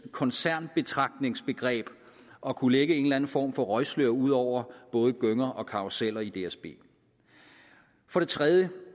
koncernbetragtningsbegreb at kunne lægge en eller anden form for røgslør ud over både gynger og karruseller i dsb for det tredje